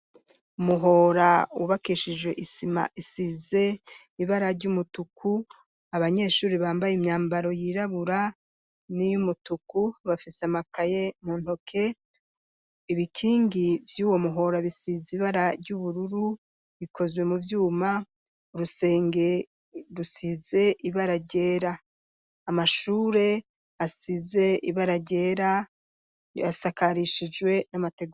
Umuhora wubakishijwe isima isize ibara ry'umutuku, abanyeshure bambaye imyambaro yirabura n'iy umutuku bafise amakaye mu ntoke, ibikingi vy'uwo muhora bisize ibara ry'ubururu bikozwe mu vyuma, urusenge rusize ibara ryera, amashure asize ibara ryera asakarishijwe n'amategura.